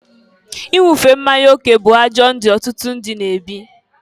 Inwufe mmanya oke bụ ajọ ndụ ọtụtụ ndị na-ebi.